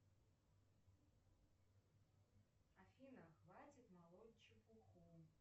афина хватит молоть чепуху